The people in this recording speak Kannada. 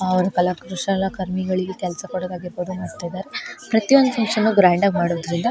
ಅವ್ರ ಕಲಾಕುಶಲಕರ್ಮಿಗಳಿಗೆ ಕೆಲಸ ಕೊಡದಾಗಿರಬಹುದು ಮತ್ತೆ ಅದರ್ ಪ್ರತಿಒಂದು ಫಕ್ಷನ್ ಗ್ರಾಂಡ್ ಆಗಿ ಮಾಡೋದ್ರಿಂದ --